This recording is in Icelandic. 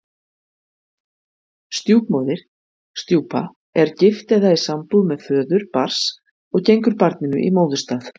Stjúpmóðir, stjúpa, er gift eða í sambúð með föður barns og gengur barninu í móðurstað.